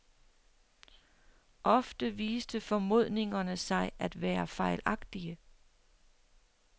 Ofte viste formodningerne sig at være fejlagtige.